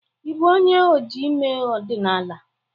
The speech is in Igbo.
Ị bụ onye oji ime ọdịnala?